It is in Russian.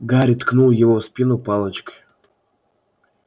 гарри ткнул его в спину палочкой